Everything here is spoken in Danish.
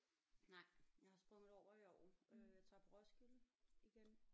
Nej jeg har sprunget det over i år øh tager på Roskilde igen